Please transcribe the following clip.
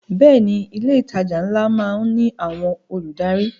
Bẹ́ẹ̀ ni, ilé ìtajà ńlá má ń ní àwọn olùdarí